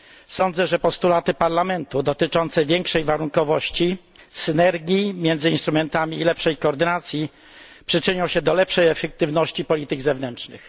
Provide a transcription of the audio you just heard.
Sądzę, że postulaty Parlamentu dotyczące większej warunkowości, synergii między instrumentami i lepszej koordynacji przyczynią się do lepszej efektywności polityk zewnętrznych.